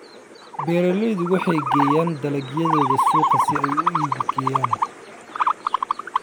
Beeraleydu waxay geeyaan dalagyadooda suuqa si ay u iibgeeyaan.